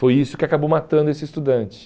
Foi isso que acabou matando esse estudante.